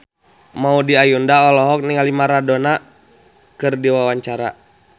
Maudy Ayunda olohok ningali Madonna keur diwawancara